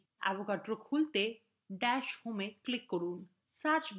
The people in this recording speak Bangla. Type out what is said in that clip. avogadro খুলতে dash home এ click করুন